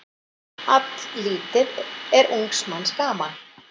Alllítið er ungs manns gaman.